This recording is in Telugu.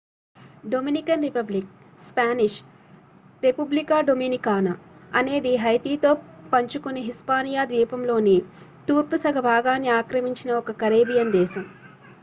Dominican Republic Spanish Republica Dominicana అనేది హైతీతో పంచుకొనే హిస్పానియా ద్వీపంలోని తూర్పు సగ భాగాన్ని ఆక్రమించిన ఒక కరేబియన్ దేశం